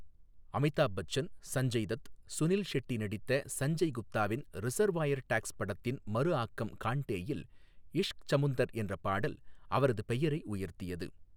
அமிதாப் பச்சன், சஞ்சய் தத், சுனில் ஷெட்டி நடித்த சஞ்சய் குப்தாவின் Reservoir Dogs படத்தின் மறு ஆக்கம் கான்டேயில் இஷ்க் சமுந்தர் என்ற பாடல் அவரது பெயரை உயர்த்தியது.